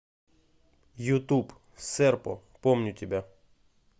ютуб серпо помню тебя